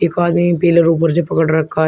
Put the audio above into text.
एक आदमी पिलर ऊपर से पकड़ रखा है।